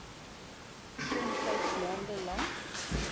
somtyds maande lank